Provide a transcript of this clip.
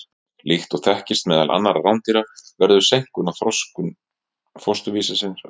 Líkt og þekkist meðal annarra rándýra verður seinkun á þroskun fósturvísis skömmu eftir frjóvgun.